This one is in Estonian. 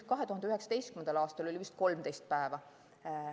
2019. aastal oli vist 13 päeva.